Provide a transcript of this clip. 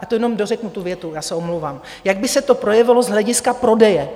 Já to jenom dořeknu, tu větu - já se omlouvám - jak by se to projevilo z hlediska prodeje.